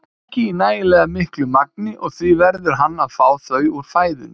ekki í nægilega miklu magni og því verður hann að fá þau úr fæðunni.